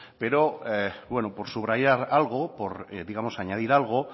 pero por subrayar algo digamos por añadir algo